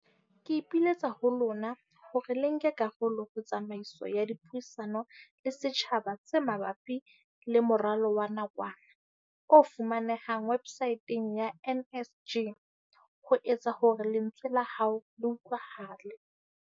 Ke ipiletsa ho lona hore le nke karolo ho tsamaiso ya dipuisano le setjhaba tse ma bapi le moralo wa nakwana, o fumanehang websaeteng ya NSG, ho etsa hore lentswe la hao le utlwahale.